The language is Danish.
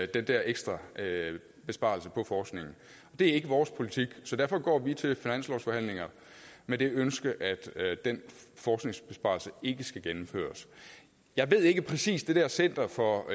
den der ekstra besparelse på forskningen det er ikke vores politik så derfor går vi til finanslovsforhandlingerne med det ønske at den forskningsbesparelse ikke skal gennemføres jeg ved ikke præcis hvad det der center for